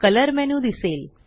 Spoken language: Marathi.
कलर मेन्यू दिसेल